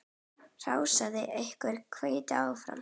Hrósaði okkur og hvatti áfram.